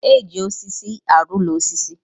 E ji osisi alụ úlọ osisi